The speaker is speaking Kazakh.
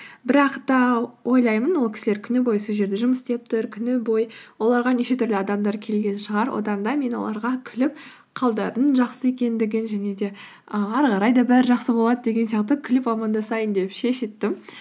бірақ та ойлаймын ол кісілер күні бойы сол жерде жұмыс істеп тұр күні бойы оларға неше түрлі адамдар келген шығар одан да мен оларға күліп қалдарының жақсы екендігін және де і ары қарай да бәрі жақсы болады деген сияқты күліп амандасайын деп шештім